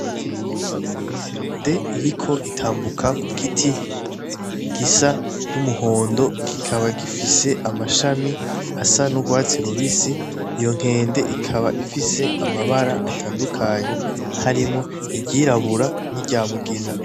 Inkende iriko itambuka kugiti gisa n'umuhondo kikaba gifise amashami asa n'ugwatsi rubisi iyo nkende ikaba ifise amabara atandukanye harimwo iry'irabura n'iryamugina